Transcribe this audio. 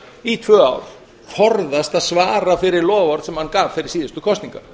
í tvö ár forðast að svara fyrir loforð sem hann gaf fyrir síðustu kosningar